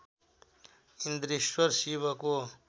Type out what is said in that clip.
इन्द्रेश्वर शिवको